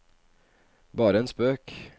bare en spøk